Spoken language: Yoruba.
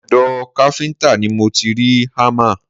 Ọ̀dọ̀ káfíńtà ni mo ti rí hámà